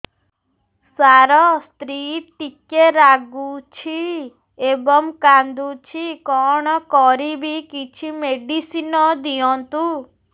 ସାର ସ୍ତ୍ରୀ ଟିକେ ରାଗୁଛି ଏବଂ କାନ୍ଦୁଛି କଣ କରିବି କିଛି ମେଡିସିନ ଦିଅନ୍ତୁ